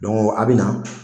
a' bɛ na